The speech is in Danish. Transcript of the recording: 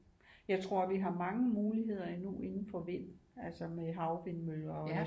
Jeg tror vi har mange muligheder endnu indenfor vind altså med havvindmøller og